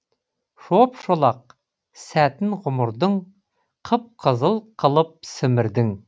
шоп шолақ сәтін ғұмырдың қып қызыл қылып сімірдің